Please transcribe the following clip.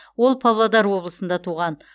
ол павлодар облысында туған